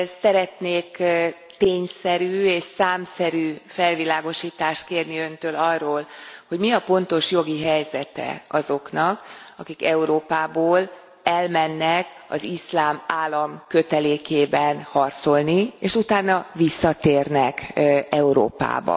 Szeretnék tényszerű és számszerű felvilágosítást kérni Öntől arról, hogy mi a pontos jogi helyzete azoknak, akik Európából elmennek az Iszlám Állam kötelékében harcolni, és utána visszatérnek Európába?